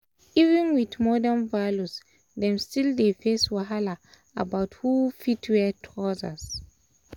even with modern values them still dey face wahala about who um fit wear trousers